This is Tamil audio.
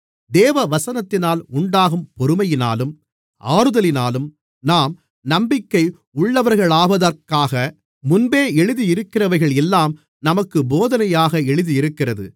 தேவவசனத்தினால் உண்டாகும் பொறுமையினாலும் ஆறுதலினாலும் நாம் நம்பிக்கை உள்ளவர்களாவதற்காக முன்பே எழுதியிருக்கிறவைகள் எல்லாம் நமக்குப் போதனையாக எழுதியிருக்கிறது